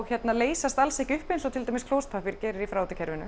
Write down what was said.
leysast alls ekki upp eins og klósettpappír gerir í